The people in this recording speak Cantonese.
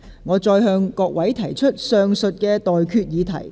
我現在向各位提出上述待決議題。